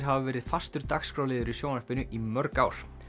hafa verið fastur dagskrárliður í sjónvarpinu í mörg ár